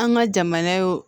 An ka jamana ye o